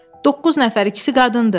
Doqquz nəfər, ikisi qadındır.